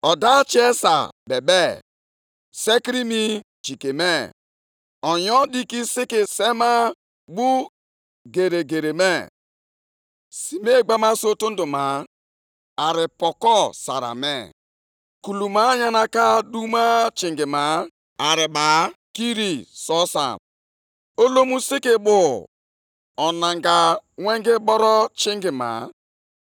O guzoro ọtọ yọgharịa ụwa; o lere anya, mee ka mba niile maa jijiji. Ugwu ukwu ochie ahụ niile dara, ugwu nta ochie ndị ahụ dakwara. Nʼihi na ụzọ ya ga-adịgide ruo mgbe niile ebighị ebi.